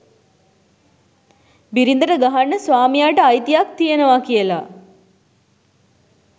බිරිදට ගහන්න ස්වාමියාට අයිතියක් තියනවා කියලා